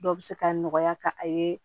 Dɔw bɛ se ka nɔgɔya ka a ye